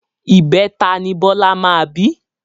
ìbẹta ni Bọlá máa bí